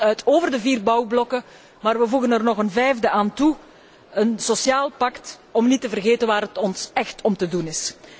Wij spreken ons uit over de vier bouwblokken, maar wij voegen er nog een vijfde aan toe een sociaal pact om niet te vergeten waar het ons echt om te doen is.